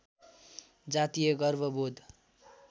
जातीय गर्व बोध